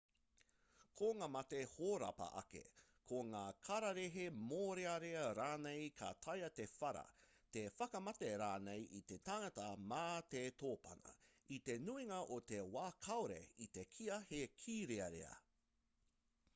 ko ngā mate hōrapa ake ko ngā kararehe mōrearea rānei ka taea te whara te whakamate rānei i te tangata mā te tōpana i te nuinga o te wā kāore i te kīia he kīrearea